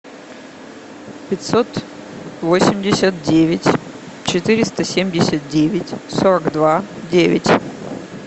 пятьсот восемьдесят девять четыреста семьдесят девять сорок два девять